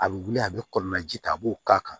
A bɛ wuli a bɛ kɔlɔlɔ ji ta a b'o k'a kan